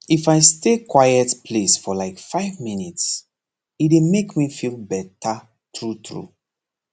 if i stay for quiet place for like five minutes e dey make me feel better truetrue